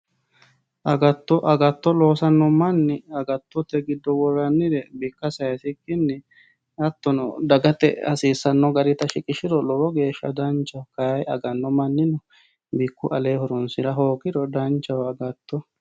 Agato agato losano mani agatote gido woranire bika sayisikini hatono dagate hasisano garita shiqishiro lowo geesha danchaho kayi agano manino bikku alee horonsira hoogiro danchaho agatto.